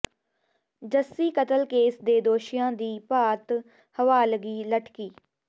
ਜੱਸੀ ਕਤਲ ਕੇਸ ਦੇ ਦੋਸ਼ੀਆਂ ਦੀ ਭਾਰਤ ਹਵਾਲਗੀ ਲਟਕੀ